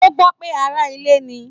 O gbọ pé ará ilé ní.